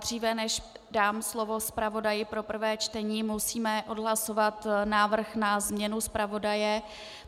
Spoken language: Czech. Dříve než dám slovo zpravodaji pro prvé čtení, musíme odhlasovat návrh na změnu zpravodaje.